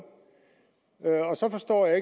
og så forstår jeg